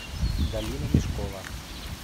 галина мешкова